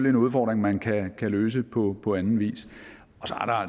en udfordring man kan løse på på anden vis